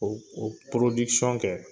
O o kɛ